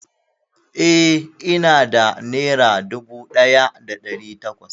Eh, ina da nera dubu ɗaya da ɗari takwas